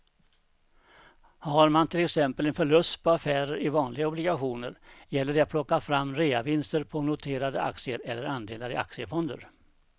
Har man till exempel en förlust på affärer i vanliga obligationer gäller det att plocka fram reavinster på noterade aktier eller andelar i aktiefonder.